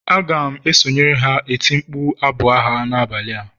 A ga m esonyere ha eti mkpu abụ agha n'abalị a